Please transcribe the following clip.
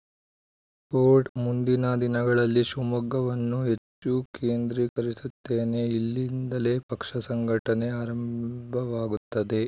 coat ಮುಂದಿನ ದಿನಗಳಲ್ಲಿ ಶಿವಮೊಗ್ಗವನ್ನು ಹೆಚ್ಚು ಕೇಂದ್ರೀಕರಿಸುತ್ತೇನೆ ಇಲ್ಲಿಂದಲೇ ಪಕ್ಷ ಸಂಘಟನೆ ಆರಂಭವಾಗುತ್ತದೆ